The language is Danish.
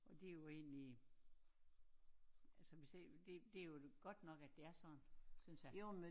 Og det jo egentlig altså vi siger det det jo godt nok at det er sådan synes jeg